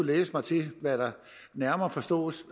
læse mig til hvad der nærmere forstås